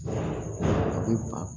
A bɛ ba